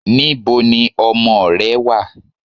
Níboni ọmọ ò rẹ̀ wà?